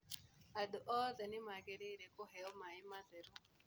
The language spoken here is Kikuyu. Andũ othe nĩ magĩrĩire kũheo maĩ matheru.